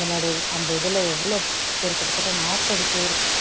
அந்த அந்த இதுல எவ்வளவு பேர் கிட்டத்தட்ட நாற்பது பேரு